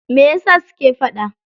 Meyasa suke faɗa?